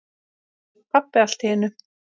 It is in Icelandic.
sagði pabbi allt í einu.